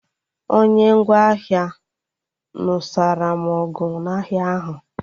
Onye ngwa ahịa nụsara m ọgụ n'ahịa ahụ